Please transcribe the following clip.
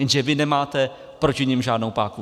Jenže vy nemáte proti nim žádnou páku.